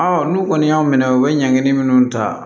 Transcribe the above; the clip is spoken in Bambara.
n'u kɔni y'u minɛ u bɛ ɲangi minnu ta